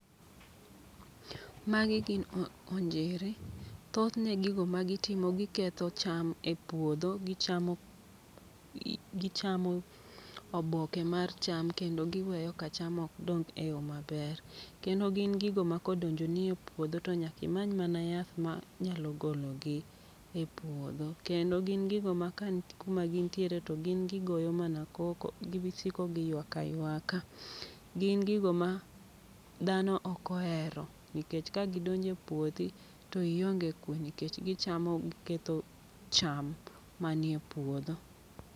Magi gin onjiri, thothne gigo ma gitimo giketho cham e puodho. Gichamo gichamo oboke mar cham kendo giweyo ka cham ok dong e yo maber. Kendo gin gigo ma kodonjo ni e puodho to nyakimany mana yath ma nyalo gologi e puodho. Kendo gin gigo ma ka ni kuma gintiere to gin gigoyo mana koko, gibisiko ka giywak aywaka. Gin gigo ma dhano okoero, nikech ka gidonje puothi to ionge kwe. Nikech gichamo giketho cham ma nie puodho.